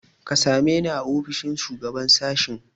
Ka same ni a ofishin shugaban sashen.